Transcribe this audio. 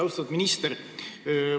Austatud minister!